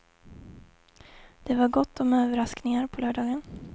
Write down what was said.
Det var gott om överraskningar på lördagen.